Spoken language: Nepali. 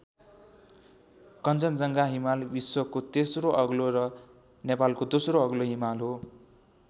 कञ्चनजङ्घा हिमाल विश्वको तेस्रो अग्लो र नेपालको दोस्रो अग्लो हिमाल हो।